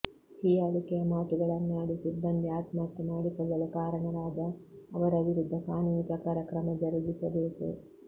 ಹೀಯಾಳಿಕೆಯ ಮಾತುಗಳನ್ನಾಡಿ ಸಿಬ್ಬಂದಿ ಆತ್ಮಹತ್ಯೆ ಮಾಡಿಕೊಳ್ಳಲು ಕಾರಣರಾದ ಅವರ ವಿರುದ್ಧ ಕಾನೂನು ಪ್ರಕಾರ ಕ್ರಮ ಜರುಗಿಸಬೇಕು